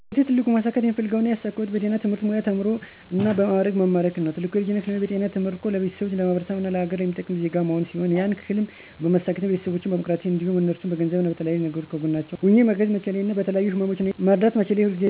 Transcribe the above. በህይወቴ ትልቁ ማሳካት የምፈልገው እና ያሳካሁት በጤና የትምህርት ሙያ ተምሮ እና በ ማዕረግ መመረቅን ነው። ትልቁ የልጅነት ህልሜ በጤና ተመርቆ ለቤተሰቦቼ፣ ለማህበረሰቡ እና ለሀገር የሚጠቅም ዜጋ መሆን ሲሆን ያን ህልም በማሳካቴ እና ቤተሰቦቸን በማኩራቴ እንዲሁም እነርሱን በገንዘብም ሆነ በተለያዩ ነገሮች ከጎናቸው ሆኘ ማገዝ መቻሌ እና በተለያዩ ህመሞች እየተሰቃዩ ላሉ ሰወችን መርዳት መቻሌ የሁል ጊዜ ህልሜ ነበር።